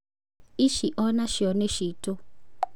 Ici onacio nĩ citũ.